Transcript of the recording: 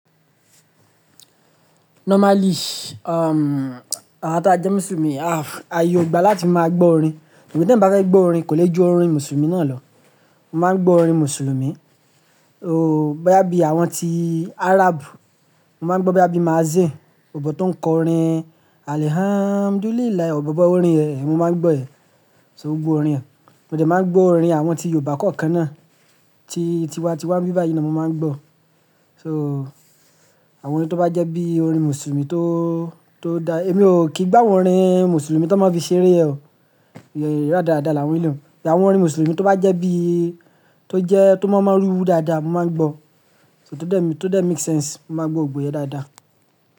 Normally, um, àwa ta jẹ́ Mùsùlùmí a, a ye ogba láti máa gbọ́ orin. Sugbon ti eyan bá fe gbọ́ orin kò lè ju orin Mùsùlùmí náà lọ. Mo máa ń gbọ́ orin Mùsùlùmí, o, bá bí àwọn tí Arab, mo máa ń gbọ́ bá bí Mazín, bòbò tó ń kọ orin Alhamduliila, bọ̀bò bó orin rẹ̀, mo máa ń gbọ́ yen. To ó gbọ́ orin rẹ̀. Mo dà máa ń gbọ́ orin àwọn tí Yorùbá kọ̀ọ̀kan náà, tí, tí wá n ti wá bíba yìí na mo máa ń gbọ́. So àwọn orin tó bá jẹ́ bí orin Mùsùlùmí tó, tó dá, èmi ò kí gba àwọn orin Mùsùlùmí tó máa fi ṣeré yen o, radàrada làwọn ele. Àwọn orin Mùsùlùmí tó bá jẹ́ bí, tó jẹ́ tó máa ń rúru dáadáa, mo máa ń gbọ́. So, tó dà make sense, mo máa gbọ́ gbogbo yen dáadáa.